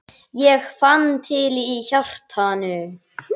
Ég fann til í hjartanu.